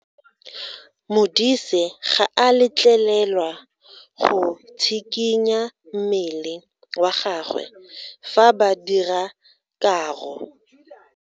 Modise ga a letlelelwa go tshikinya mmele wa gagwe fa ba dira karo.